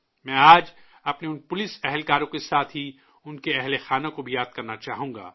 میں آج اپنے ان پولیس ملازمین کے ساتھ ہی ان کے کنبوں کو بھی یاد کرنا چاہوں گا